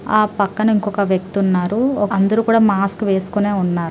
ఆ పక్కన ఇంకొక వ్యక్తి ఉన్నారు. ఒక అందరూ కూడా మాస్క్ వేసుకునే ఉన్నారు.